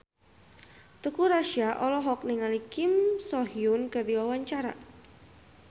Teuku Rassya olohok ningali Kim So Hyun keur diwawancara